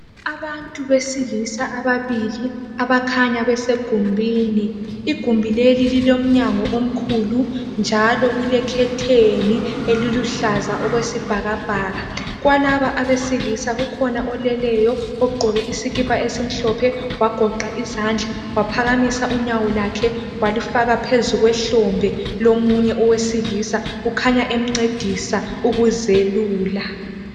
Abantu besilisa ababili abakhanya besegumbini. Igumbi leli lilomnyango omkhulu njalo kulekhetheni eliluhlaza okwesibhakabhaka. Kulaba abesilisa kukhona oleleyo, ogqoke isikipa esimhlophe wagoqa izandla eaphakamisa unyawo lwakhe walufaka phezu kwehlombe lomunye owesilisa, ukhanya emncedisa ukuzelula.